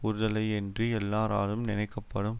உறுதலையெய்தி எல்லாராலும் நினைக்கப்படும்